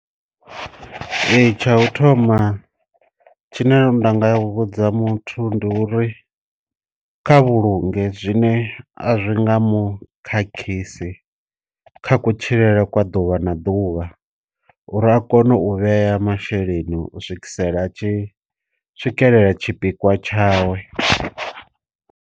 Ee tsha u thoma tshine ndanga ya vhudza muthu ndi uri kha vhulunge zwine a zwi nga mu khakhisi kha ku tshilele kwa ḓuvha na ḓuvha uri a kone u vhea masheleni u swikisela tshi swikelela tshi pikwa tshawe.